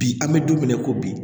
Bi an bɛ don min na i ko bi